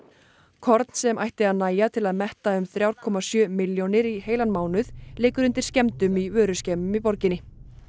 korn sem ætti að nægja til að metta um þrjá komma sjö milljónir í heilan mánuð liggur undir skemmdum í vöruskemmum í borginni